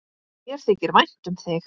Mér þykir vænt um þig!